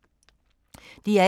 DR1